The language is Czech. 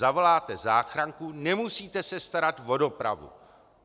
Zavoláte záchranku, nemusíte se starat o dopravu.